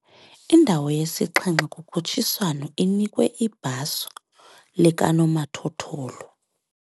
Indawo yesixhenxe kukhutshiswano inikwe ibhaso likanomathotholo.